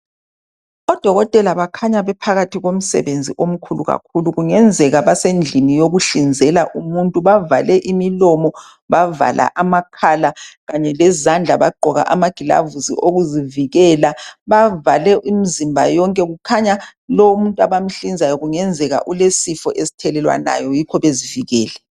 Odokotela bakhanya bephakathi komsebenzi omkhulu kakhulu kungenzeka basendlini yokuhlinzela umuntu bavale imilomo bavala amakhala kanye lezandla bagqoka amagilavusi okuzivikela. Bavale imzimba yonke kukhanya lomuntu abamhlinzayo kungenzeka ulesifo esithelelwanayo yikho bezivikele.